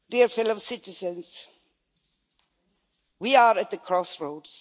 Fellow citizens, we are at the crossroads.